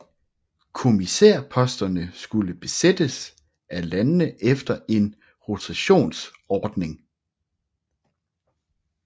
Kommissærposterne skulle besættes af landene efter en rotationsordning